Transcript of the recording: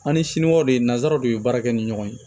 An ni siniwaw de ye nanzaraw de ye baara kɛ ni ɲɔgɔn ye